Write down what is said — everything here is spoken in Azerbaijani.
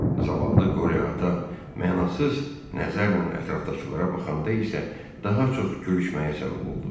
Zavallı Qoryo ata mənasız nəzərlə ətraflara baxanda isə daha çox gülüşməyə səbəb oldu.